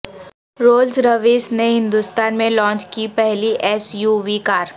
rules Royce نے ہندوستان میں launch کی پہلی ایس یو وی کار